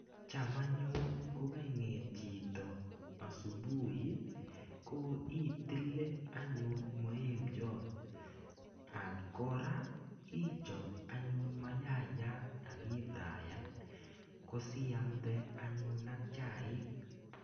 Cham anyun kokang'et chito asubuhi, ko itile anyun maemboit. Ak kora, ichop anyun mayaiyat, akifraiyan. Kosiamde anyun ak chaik.